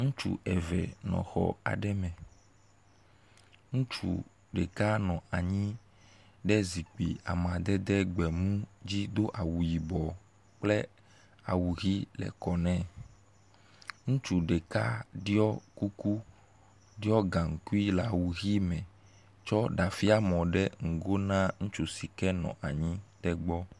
Ŋutsu eve nɔ xɔ aɖe me, ŋutsu ɖeka nɔ anyi ɖe zikpui amadede gbemu dzi do awu yibɔ kple awu ʋi le kɔ nɛ. Ŋutsu ɖeka ɖiɔ kuku, ɖiɔ gaŋkui le awu ʋi me tsɔ ɖafiamɔ ɖe ŋgo na ŋutsu si ke nɔ anyi ɖe gbɔ.